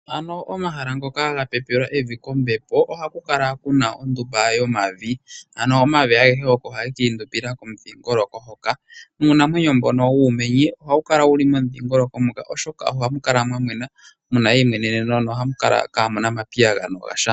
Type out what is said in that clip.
Ano omahala ngoka ga pepelwa evi kombepo ohaku kala kuna ondumba yomavi ano omavi agehe oko nee haga kala giindumbila komudhingoloko hoka. Nuunamwenyo mbono wuumenye ohawu kala wuli momudhingoloko ngoka, oshoka ohamu kala mwa mwena muna eimweneneno mo hamu kala kaamuna omapayagano gasha.